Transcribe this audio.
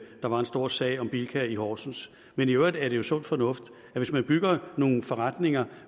der var en stor sag om bilka i horsens men i øvrigt er det jo sund fornuft at hvis man bygger nogle forretninger